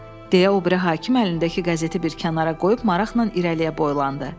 Deyə o biri hakim əlindəki qəzeti bir kənara qoyub maraqla irəliyə boylandı.